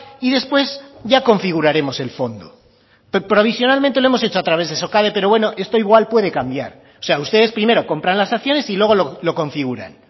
y después ya configuraremos el fondo provisionalmente lo hemos hecho a través de socade pero bueno esto igual puede cambiar o sea ustedes primero comparar las acciones y luego lo configuran